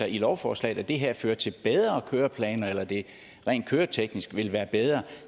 i lovforslaget at det her fører til bedre køreplaner eller at det rent køreteknisk vil være bedre